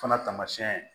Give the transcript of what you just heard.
Fana tamasiyɛn